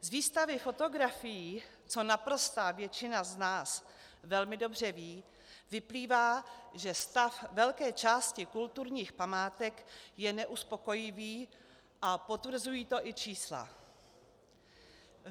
Z výstavy fotografií, co naprostá většina z nás velmi dobře ví, vyplývá, že stav velké části kulturních památek je neuspokojivý, a potvrzují to i čísla.